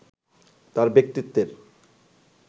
তাঁর ব্যক্তিত্বের